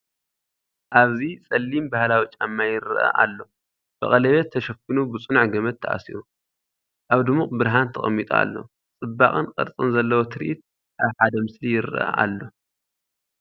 ኣብዚ ጸሊም ባህላዊ ጫማ ይረአ ኣሎ። ብቀለቤት ተሸፊኑ ብጽኑዕ ገመድ ተኣሲሩ፡ ኣብ ድሙቕ ብርሃን ተቀሚጡ ኣሎ። ጽባቐን ቅርጽን ዘለዎ ትርኢት ኣብ ሓደ ምስሊ ይረአ ኣሎ።